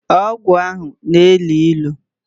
Ogwu ahu na-elu ilu